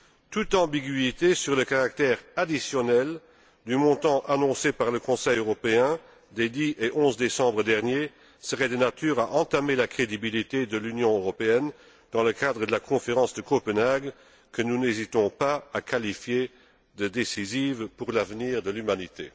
Toute ambiguïté sur le caractère additionnel du montant annoncé par le Conseil européen des 10 et 11 décembre dernier serait de nature à entamer la crédibilité de l'Union européenne dans le cadre de la conférence de Copenhague, que nous n'hésitons pas à qualifier de décisive pour l'avenir de l'humanité.